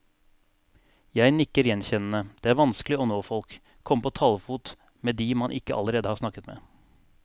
Jeg nikker gjenkjennende, det er vanskelig å nå folk, komme på talefot med de man ikke allerede har snakket med.